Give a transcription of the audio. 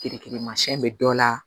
Kirikirimasiyɛn bɛ dɔ la